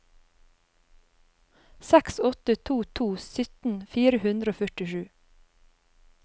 seks åtte to to sytten fire hundre og førtisju